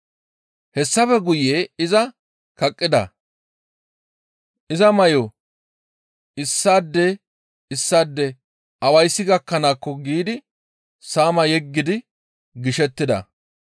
Hessafe guye iza kaqqida; iza may7o issaade issaade awayssi gakkanaakko giidi saama yeggidi gishettida.